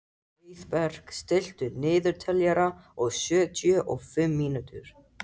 Heiðberg, stilltu niðurteljara á sjötíu og fimm mínútur.